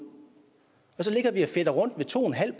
og så ligger vi og fedter rundt ved to en halv